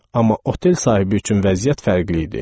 Amma otel sahibi üçün vəziyyət fərqli idi.